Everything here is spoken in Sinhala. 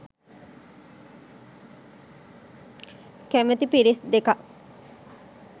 කැමැති පිරිස් දෙකක්.